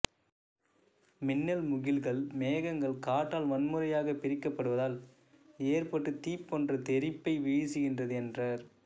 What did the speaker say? மின்னல் முகில்கள் மேகங்கள் காற்றால் வன்முறையாகப் பிரிக்கப்படுவதால் ஏற்பட்டு தீப்போன்ற தெறிப்பை வீசுகின்றது என்றார்